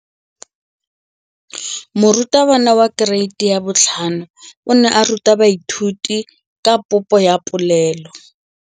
Moratabana wa kereiti ya 5 o ne a ruta baithuti ka popô ya polelô.